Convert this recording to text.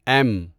M